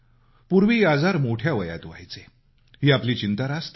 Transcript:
पूर्वी आजार मोठ्या वयात व्हायचे ही आपली चिंता रास्त आहे